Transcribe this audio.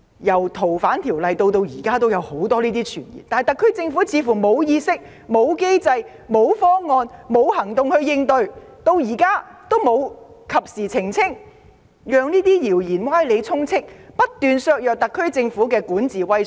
由《條例草案》出台至今都有很多此類傳言，但特區政府似乎沒有意識、機制、方案和行動加以應對，時至今日仍不及時作出澄清，任由謠言歪理充斥，不斷削弱特區政府的管治威信。